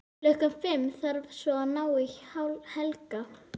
Klukkan fimm þarf svo að ná í Helga.